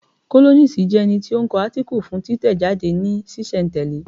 Kólọ́nisi jẹ́ ẹni tí ó ń kọ átíkù fún títẹ̀ jáde ní sísẹ̀ n tẹ̀lẹ́